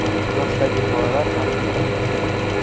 yoshdagi bolalar ham bo‘lgan.